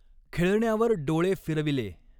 ख़ेळण्यावर डोळे फिरविले।